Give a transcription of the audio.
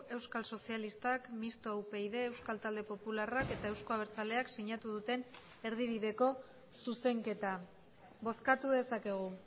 euskal sozialistak mistoa upyd euskal talde popularrak eta euzko abertzaleak sinatu duten erdibideko zuzenketa bozkatu dezakegu